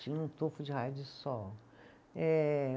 Tinha um tufo de raio de sol. Eh